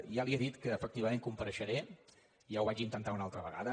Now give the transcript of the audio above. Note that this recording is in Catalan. ja li he dit que efectiva·ment compareixeré i ja ho vaig intentar una altra ve·gada